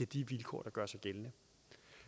de vilkår der gør sig gældende